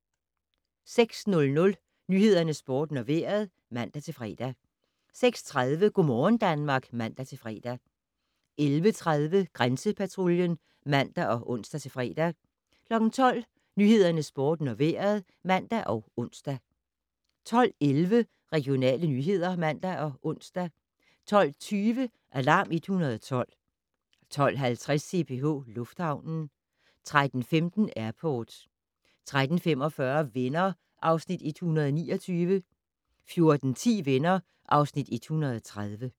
06:00: Nyhederne, Sporten og Vejret (man-fre) 06:30: Go' morgen Danmark (man-fre) 11:30: Grænsepatruljen (man og ons-fre) 12:00: Nyhederne, Sporten og Vejret (man og ons) 12:11: Regionale nyheder (man og ons) 12:20: Alarm 112 12:50: CPH Lufthavnen 13:15: Airport 13:45: Venner (Afs. 129) 14:10: Venner (Afs. 130)